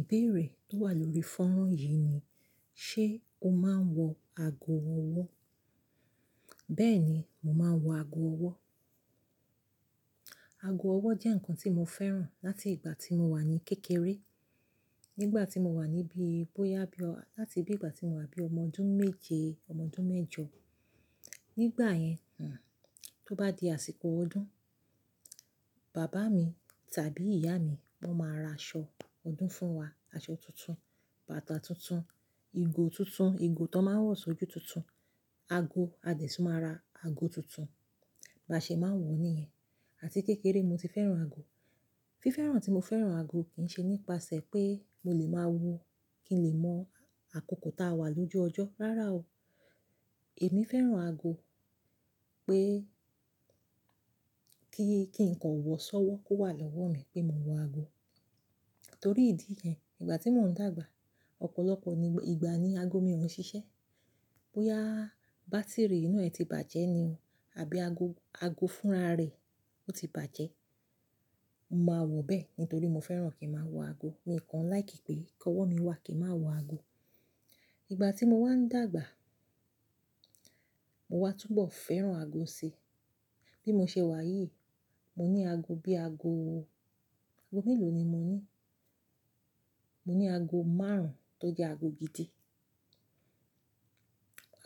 Ìbéèrè tó wà lórí fọ́nrán yìí ni "ṣé o máa ń wọ ago ọwọ́?" Bẹ́ẹ̀ ni, mo máa ń wọ ago ọwọ́. Ago ọwọ́ jẹ́ nǹkan tí mo fẹ́ràn láti ìgbà tí mo wà ní kékeré. Nígbà tí mo wà níbí, bóyá bí láti bí ìgbà tí mo wà bí ọmọ ọdún méje, ọmọ ọdún mẹ́jọ. Nígbà yẹn, hmmm, tó bá di àsìkò ọdún, bàbá mi tàbí ìyá mi wọ́n máa ra aṣọ ọdún fún wa, aṣọ tuntun, bàtà tuntun, ìgò tuntun, ìgò tó máa ń wọ̀sọ́ ojú tuntun, ago, a dẹ̀ tún máa ra ago tuntun. Bí a ṣe máa ń wọ̀ níyẹn. Àti kékeré mo ti fẹ́ràn ago. Fífẹ́ràn tí mo fẹ́ràn ago kì í ṣe nípasẹ̀ pé mo lè máa wo kí n lè mọ àkókò táa wà lójú ọjọ́. Rárá o. Èmi fẹ́ràn ago pé kí, kí ǹkan ò wọ̀ sọ́wọ́ kó wà lọ́wọ́ mi pé mo wọ ago. Torí ìdí yẹn, ìgbà tí mò ń dàgbà, ọ̀pọ̀lọpọ̀ ìgbà ni ago mi ò ńi ṣiṣẹ́. Bóyá bátíìrì inú rẹ̀ ti bàjẹ́ ni o, àbí ago, ago fúnra rẹ̀ ó ti bàjẹ́. Mo máa wọ̀ bẹ́ẹ̀ nítorí mo fẹ́ràn kí ń máa wọ ago. Mi kàn láìkí pé kọ́ ọwọ́ mi wà kí ń máa wọ ago. Ìgbà tí mo wá ń dàgbà, mo wá túbọ̀ fẹ́ràn ago si. Bí mo ṣe wà yìí, mo ní ago bí ago ago mélòó ni mo ní? Mo ní ago márùn-ún tó jẹ́ ago gidi.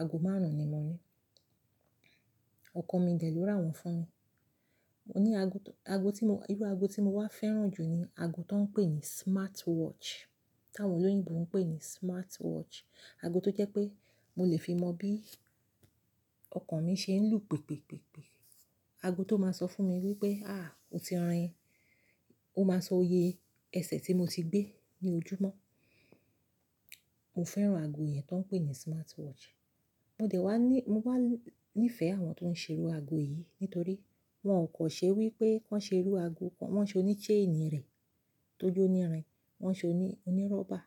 Ago márùn-ún ni mo ní. Ọkọ mi dè ẹ́ ló ra wọ́n fún mi. Mo ní ago tó, ago tí mo, irú ago tí mo wá fẹ́ràn jù ni ago tó ń pè ní smartwatch. Táwọn olóyìnbo ń pè ní smartwatch. Ago tó jẹ́ pé mo lè fi mọ bí ọkọ mi ṣe ń lù pipipipi. Ago tó máa sọ fún mi wípé, "àh! O ti rin." Ó máa sọ oyè ẹsẹ̀ tí mo ti gbé ní ojúmọ́. Mo fẹ́ràn ago yẹn tó ń pè ní smartwatch. Mo dẹ̀ wá ní, mo wá níìfẹ̀ àwọn tó ń ṣèrú ago yìí nítorí wọ́n kò ṣe wípé wọ́n ṣe irú ago kan, wọ́n ṣe oní chain rẹ̀ tó jó nírin, wọ́n ṣe oní, oní rubber.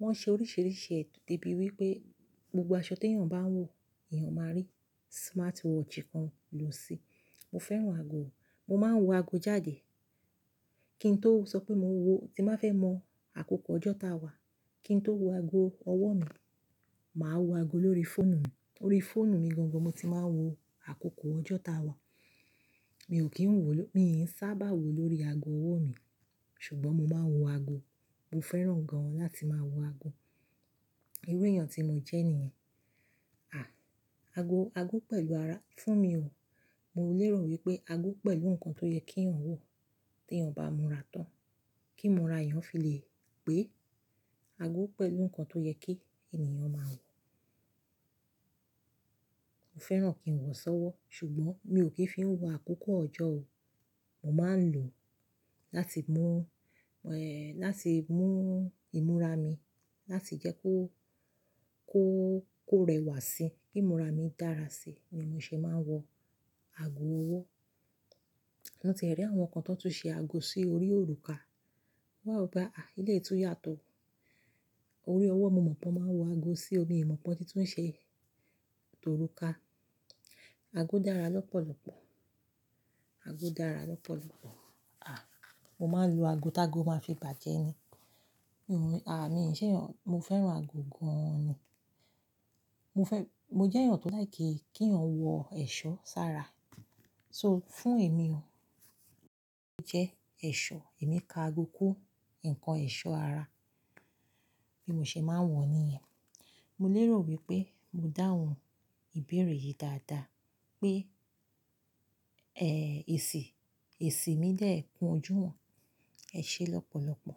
Wọ́n ṣe oríṣiríṣi ẹ̀, di bí wípé gbogbo aṣọ tí èèyàn bá ń wọ̀, èèyàn máa rí smartwatch kan lò sí i. Mo fẹ́ràn ago, mo máa ń wọ ago jáde. Kí n tó sọ pé mo ń wọ, tí màá fẹ́ mọ àkókò ọjọ́ táa wà, kí n tó wo ago ọwọ́ mi, màá wọ ago lórí fóònù mi. Lórí fóònù mi gangan mo ti máa ń wo àkókò ọjọ́ táa wà. Mi ò kí ń wò ló, mi ò sábà wò lórí ago ọwọ́ mi. Ṣùgbọ́n mo máa ń wọ ago. Mo fẹ́ràn gan an láti máa wọ ago. Irú èèyàn tí mo jẹ́ nìyẹn. Àh! Ago, ago pẹ̀lú ara, fún mi o, mo lè rò wípé ago pẹ̀lú ǹkan tó yẹ kí èèyàn wọ̀ tí èèyàn bá múra tán. Kí ìmúra èèyàn fi lè pé. Ago pẹ̀lú ǹkan tó yẹ kí ènìyàn máa wọ̀. Mo fẹ́ràn kí ń wọ̀ sọ́wọ́, ṣùgbọ́n mi ò kí ń fi ń wo àkókò ọjọ́ o. Mo máa ń lò ó láti mú, ẹ́ẹ́, láti mú ìmúra mi láti jẹ́ kó, kó, kó rẹwà sí i, kí ìmúra mi dára sí i ní mo ṣe máa ń wọ ago ọwọ́. Mo ti e rí àwọn kan tó tún ṣe ago sí orí òrùka. Mo wá wo pe, áh ah, elé yìí tún yàtọ̀. Orí ọwọ́ mo mọ̀ pọn máa ń wọ ago sí i, mi mọ̀ pe won tí tún ń ṣe òrùka. Ago dára lọ́pọ̀lọ́pọ̀. Ago dára lọ́pọ̀lọ́pọ̀. Àh! Mo máa ń lo ago tágo máa fi bàjẹ́ ni. Hmmm, àh, mi ò ṣe èèyàn, mo fẹ́ràn ago gan an ni. Mo fẹ́, mo jẹ́ èèyàn tó láìkí, kí ẹ̀yàn wọ ẹ̀ṣọ́ sára. So fún èmi o, ago jẹ́ ẹ̀ṣọ́. Èmi ka ago kún ǹkan ẹ̀ṣọ́ ara bí mo ṣe máa ń wọ̀ ó níyẹn. Mo lè rò wípé mo dáhùn ìbéèrè yìí dáadáa pé, ẹ́ẹ́, èsì, èsì mi de kun ojú wọ́n. Ẹ ṣe lọ́pọ̀lọ́pọ̀.